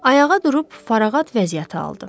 Ayağa durub fərağət vəziyyəti aldı.